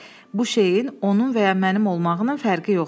Bu şeyin onun və ya mənim olmağının fərqi yoxdur.